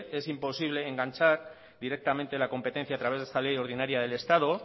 es imposible enganchar directamente la competencia a través de esta ley ordinaria del estado